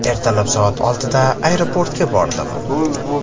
Ertalab soat oltiga aeroportga bordim.